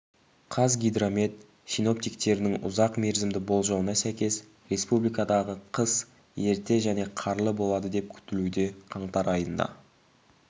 қазгидромет синоптиктерінің ұзақ мерзімді болжауына сәйкес республикадағы қыс ерте және қарлы болады деп күтілуде қаңтар айында